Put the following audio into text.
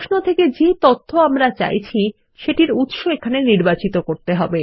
প্রশ্ন থেকে যে তথ্য আমরা চাইছি সেটির উত্স এখানে নির্বাচিত করতে হবে